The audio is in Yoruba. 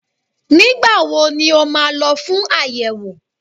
Nígbà wo ni ó máa lọ fún àyẹ̀wò?